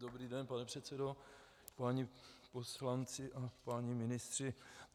Dobrý den, pane předsedo, páni poslanci a páni ministři.